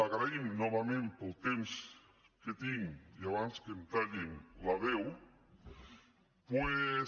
agraïm novament pel temps que tinc i abans que em tallin la veu doncs